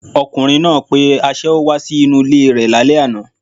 Ọkùnrin náà pe aṣẹ́wó wá sí inú ilé e rẹ̀ lálẹ́ àná